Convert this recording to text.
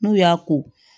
N'u y'a ko